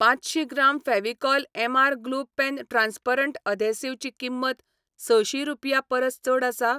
पांचशीं gram Fevicol MR glue pen transparent adhesive ची किंमत सशीं रुपयां परस चड आसा?